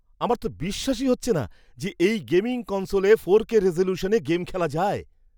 আমার তো বিশ্বাসই হচ্ছে না যে এই গেমিং কনসোলে ফোরকে রেজোলিউশনে গেম খেলা যায়!